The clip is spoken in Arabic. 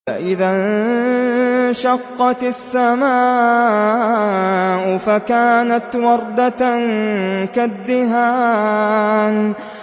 فَإِذَا انشَقَّتِ السَّمَاءُ فَكَانَتْ وَرْدَةً كَالدِّهَانِ